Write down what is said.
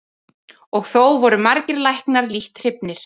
Og þó voru margir læknar lítt hrifnir.